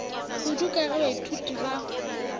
kudu ka ge baithuti ba